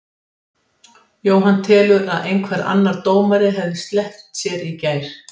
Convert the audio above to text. Jóhann telur að einhver annar dómari hefði sleppt sér í gær.